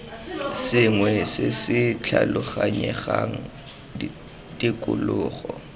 sengwe se se tlhaloganyegang tikologo